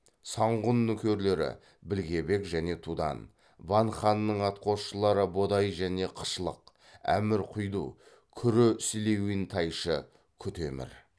санғұн нөкерлері білге бек және тудан ван ханның атқосшылары бодай және қышлық әмір құйду күрі силиүн тайшы кү темір